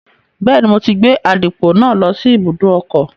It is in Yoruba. Bẹ́ẹ̀ni, mo ti gbé àdìpọ̀ náà lọ sí ibùdó ọkọ̀